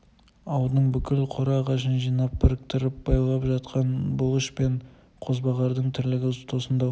ауылдың бүкіл қора ағашын жинап біріктіріп байлап жатқан бұлыш пен қозбағардың тірлігі тосындау